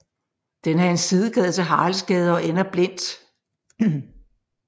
Den er en sidegade til Haraldsgade og ender blindt